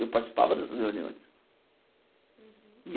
Eu participava dessas reuniões.